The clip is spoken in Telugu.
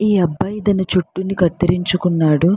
ఈ అబ్బాయి తన జుట్టు ని కత్తిరించుకున్నాడు.